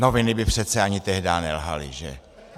Noviny by přece ani tehdá nelhaly, že.